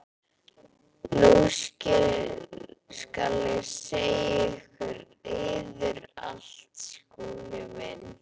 Nú skal ég segja yður allt, Skúli minn.